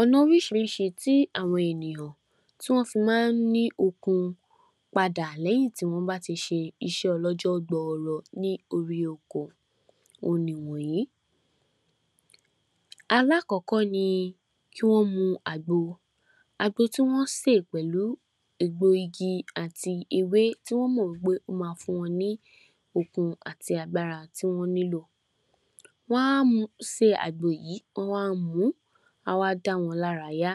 Ọ̀nà oríṣiríṣi tí àwọn ènìyàn tí wọn fi máa ń ní okun padà lẹ́yìn tí wọ́n bá a ti ṣe iṣẹ́ ọlọ́jọ́ gbọọrọ ní orí oko ohun nì wọ̀nyí: Alákọ́kọ́ ni kí wọ́n mu àgbo, àgbo tí wọn sè pẹ̀lú egbògi àti ewé tí wọn mọ̀ pé ó máa fún wọn ní okun àti agbára tí wọ́n nílò, wá máa sè àgbo yìí, wá mu á wá dá wọn lárayá.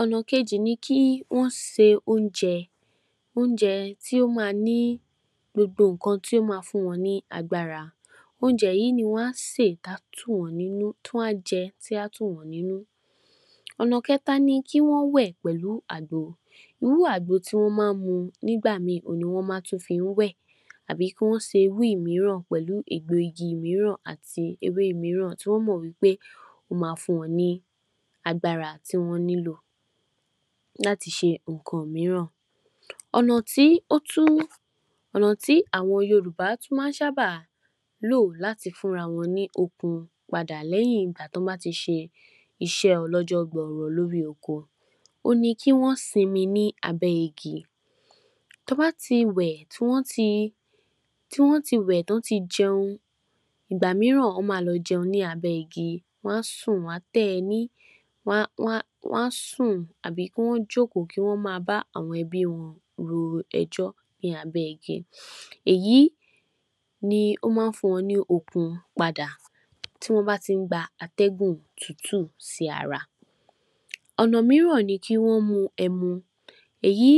Ọ̀nà kejì ni kí wọn se oúnjẹ, oúnjẹ tí ó máa ní gbogbo nǹkan tí ó máa fún wọn ní agbára, oúnjẹ yìí ni wá sè, tí a tù nínú tí wọn á jẹ ti a tù wọ́n nínú. Ọ̀nà kẹtà ni pé kí wọ́n wẹ̀ pẹ̀lú àgbo tí wọn máa ń mu nígbà míì ohun ni wọn tún máa fi wẹ̀ àbí kí wọn ṣe irú mìíràn pẹ̀lú egbògi àti ewé mìíràn tí wọn mọ̀ pé, ó máa fún wọn ní agbára tí wọn nílò láti ṣe nǹkan mìíràn. Ọ̀nà tí ó tún, ọ̀nà tí àwọn Yorùbá tún máa ń sábá lò láti fún ara wọn lókun padà lẹ́yìn tí wọn bá a ti ṣe iṣẹ́ ọlọ́jọ́ gbọọrọ lórí oko, ohun ni kí wọn sinmi lábẹ́ igi, tí wọ́n bá a ti wẹ̀ tí wọn tí jẹun, ìgbà mìíràn wá lọ jẹun lábẹ́ igi, wọn a sùn, wá tẹ́ ẹní, wá a sùn tàbí kí wọ́n jókòó, kí wọn máa bá a àwọn ẹbí wọn ro ẹjọ́ ni abẹ́ igi, èyí ni ó máa ń fún wọn ní okun padà tí wọn bá a ti ń gba atẹ́gùn tútù sí ara.. Ọ̀nà mìíràn ni kí wọn mu ẹmu, èyí,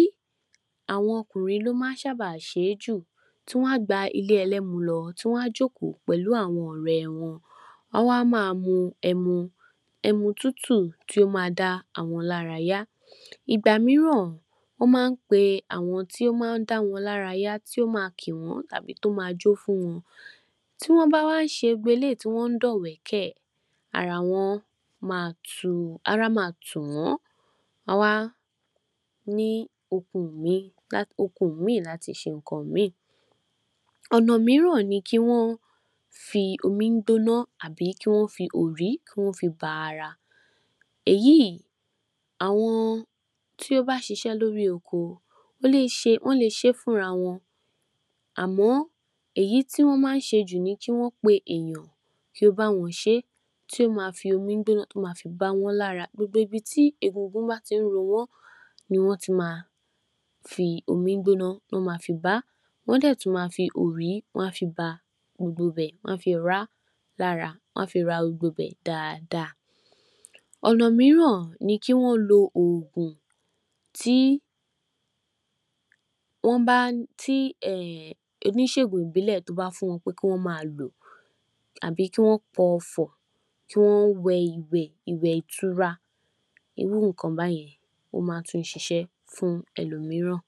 àwọn ọkùnrin ló sábà máa ń ṣe jù, tí wá gba ilé ẹlẹ́mu lọ, wá jókòó pẹ̀lú àwọn ọ̀rẹ́ wọn, wá a máa mu ẹmu, ẹmu tútù ti ó máa máa dá àwọn lárayá, ìgbà mìíràn ó máa ń pé àwọn tí ó máa ń dá wọn lárayá, tí ó máa kì wọn tàbí jó fún wọn tí wọn bá wà ń ṣe gbogbo eléyìí tí wọn dọ̀wẹ́kẹ̀, ara wọn máa tu, ara máa tu wọn, wọ́n wá ní oko míì, oko míì láti ṣe nnkan míì. Ọ̀nà mìíràn ni kí wọn fi omi gbóná tàbí kí wọ́n fi òrí ba ara, èyí, àwọn tí wọn bá a ṣiṣẹ́ lórí oko, wọn lè ṣe fún ara wọn, àmọ́ èyí tí wọn máa ń ṣe jù ni kí wọn pé èèyàn kí ó bá àwọn ṣé, tí ó máa fi omi gbóná ba wọn lára, ibi tí egungun bá a ti ń ro wọn, ní wọn máa tí fi omi gbóná bá, wọn a dẹ̀ tún fi òrí bá gbogbo ibẹ̀, wọn a fi òrí rá lára wọn a fi gbogbo ibẹ̀ dáadáaa. Ọ̀nà mìíràn ni kí wọn lò oògùn tí wọn bá, em, oníṣègùn ìbílẹ̀ bá a fún wọn lò àbí kí wọn kọ̀ Ọfọ̀, kí wọn wẹ̀ iwẹ̀, iwẹ̀ ìtura, irú nnkan bẹ́ẹ̀ yẹn ó máa ń tún ṣiṣẹ́ fún ẹlòmíràn..